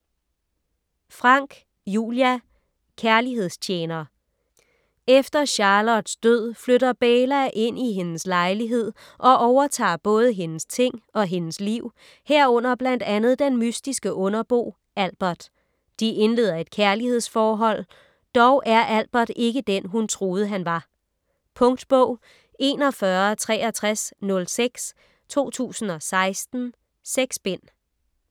Franck, Julia: Kærlighedstjener Efter Charlottes død flytter Beyla ind i hendes lejlighed og overtager både hendes ting og hendes liv, herunder blandt andet den mystiske underbo Albert. De indleder et kærlighedsforhold. Dog er Albert ikke den, hun troede han var. Punktbog 416306 2016. 6 bind.